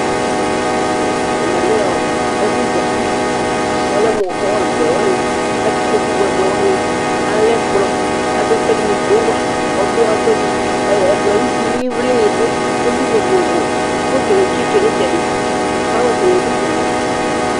Ɛmɛlɛ ɛfʋzati kʋ ɔlɛmʋ hɔl bʋɛ wani kʋ atɛ ikpokʋ bʋɛ bʋɛ wani, kʋ akɛ ɛkplɔ, kʋ alɛ ɛkʋɛdi mʋ gowa, kʋ ɔdʋ ɛkʋɛdi, ɛkplɔ yɛ ayʋ uti ivlini dʋ, ivli vovovo, fotoni atsitʋ nʋ itsrdi, flawɛs nidʋ itsɛdi